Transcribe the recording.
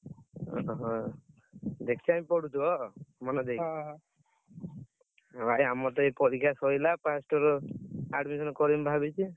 ଓହୋ! ବେଶୀ time ପଢୁଛ, ମନଦେଇ? ଭାଇ ଆମରତ ଏଇ ପରୀକ୍ଷା ସଇଲା। first year admission କରିବି ଭାବିଛି।